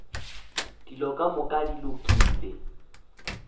dilo ka moka di lokile